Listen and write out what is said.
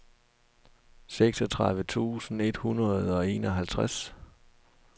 seksogtredive tusind et hundrede og enoghalvtreds